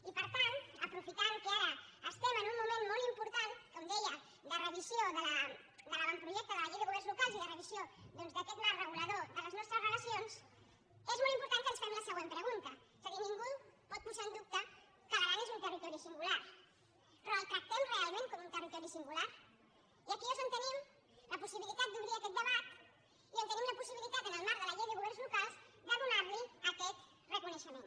i per tant aprofitant que ara estem en un moment molt important com deia de revisió de l’avantprojecte de la llei de governs locals i de revisió doncs d’aquest marc regulador de les nostres relacions és molt important que ens fem la següent pregunta és a dir ningú pot posar en dubte que l’aran és un territori singular però el tractem realment com un territori singular i aquí és on tenim la possibilitat d’obrir aquest debat i on tenim la possibilitat en el marc de la llei de governs locals de donar li aquest reconeixement